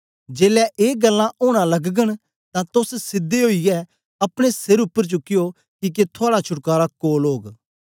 जेलै ए गल्लां ओना लगगन तां तोस सीधे ओईयै अपने सिर उपर चूकयो किके थुआड़ा छुटकारा कोल ओग